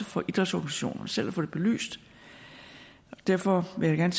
for idrætsorganisationerne selv i få det belyst og derfor vil jeg